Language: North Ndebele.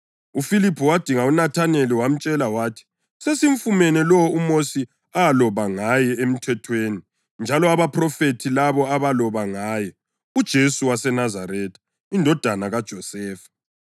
UFiliphu wadinga uNathaneli wamtshela wathi, “Sesimfumene lowo uMosi aloba ngaye eMthethweni, njalo abaphrofethi labo abaloba ngaye, uJesu waseNazaretha, indodana kaJosefa.”